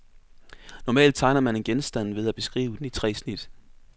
Normalt tegner man en genstand ved at beskrive den i tre snit.